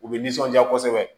U bɛ nisɔndiya kosɛbɛ